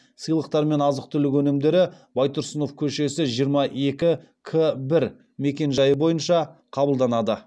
сыйлықтар мен азық түлік өнімдері байтұрсынов көшесі жиырма екі к бір мекенжайы бойынша қабылданады